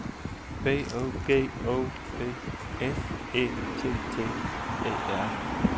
B O G O P S Æ T T E R